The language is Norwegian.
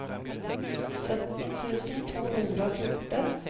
sytten tusen to hundre og fjorten